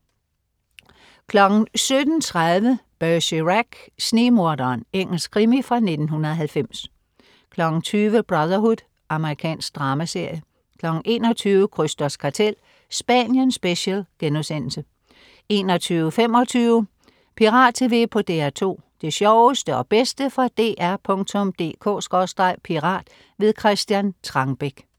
17.30 Bergerac: Snigmorderen. Engelsk krimi fra 1990 20.00 Brotherhood. Amerikansk dramaserie 21.00 Krysters Kartel. Spanien special* 21.25 Pirat TV på DR2. Det sjoveste og bedste fra dr.dk/pirat. Christian Trangbæk